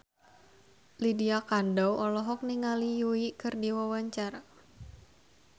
Lydia Kandou olohok ningali Yui keur diwawancara